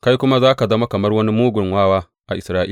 Kai kuma za ka zama kamar wani mugun wawa a Isra’ila.